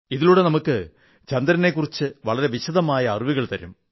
ഇതിലൂടെ നമുക്ക് ചന്ദ്രനെക്കുറിച്ച് വളരെ വിശദമായ അറിവുകൾ തരും